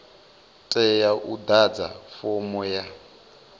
tea u ḓadza fomo ya